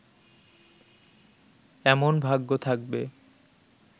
এমন ভাগ্য থাকবে